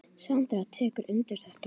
Sandra tekur undir þetta.